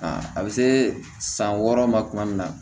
A bɛ se san wɔɔrɔ ma tuma min na